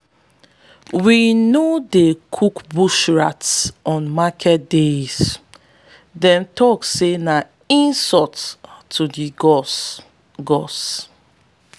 we no dey cook bush rats on market days- them tok say na insult to di gods. gods.